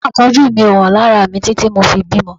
Oyún Àkọ́bí mi ò hàn lára mi títí tí mo fi bímọ